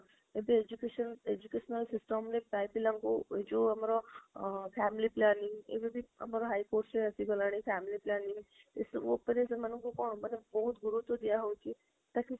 ଯଦି education educational system ରେ ପ୍ରାଯ ପିଲାଙ୍କୁ ଏଇ ଯୋଉ ଆମର family planning ଏବେ ବି ଆମର high courts ରେ ଆସିଗଲାଣି family planning ଏଇ ସବୁ ଉପରେ ସେମାଙ୍କୁ କଣ ମାନେ ବହୁତ ଗୁରୁତ୍ବ ଦିଆ ହଉଛି ତାକି